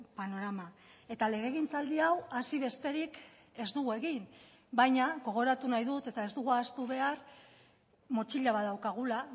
panorama eta legegintzaldi hau hasi besterik ez dugu egin baina gogoratu nahi dut eta ez dugu ahaztu behar motxila bat daukagula